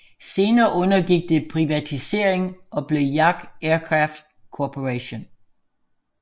Senere undergik det privatisering og blev Yak Aircraft Corporation